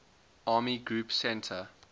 army group center